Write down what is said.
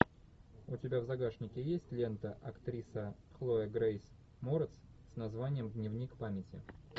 у тебя в загашнике есть лента актриса хлоя грейс морец с названием дневник памяти